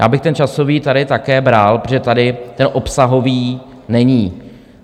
Já bych ten časový tady také bral, protože tady ten obsahový není.